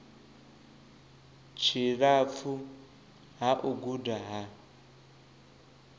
tshilapfu ha u guda ha